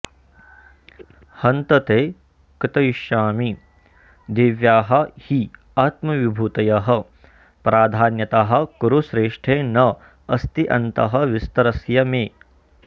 हन्त ते कथयिष्यामि दिव्याः हि आत्मविभूतयः प्राधान्यतः कुरुश्रेष्ठ न अस्ति अन्तः विस्तरस्य मे